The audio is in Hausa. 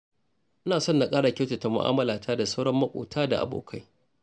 Ina son na ƙara kyautata mu'amalata da sauran maƙota da abokai.